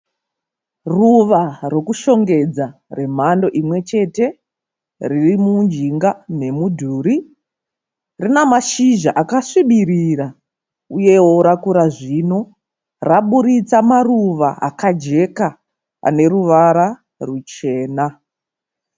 Ruva rokushongedza remhando imwe chete. Riri mujinga memudhuri. Rina mashizha akasvibirira uye wo rakura zvino raburitsa maruva akajeka ane ruvara ruchena.